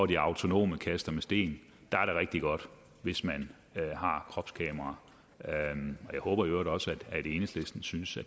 de autonome kaster med sten der er det rigtig godt hvis man har kropskameraer jeg håber i øvrigt også at enhedslisten synes